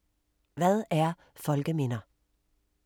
Hvad er folkeminder?